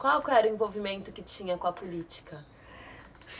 Qual era o envolvimento que tinha com a política?